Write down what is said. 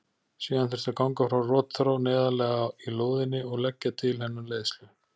Síðan þurfti að ganga frá rotþró neðarlega í lóðinni og leggja til hennar leiðslu.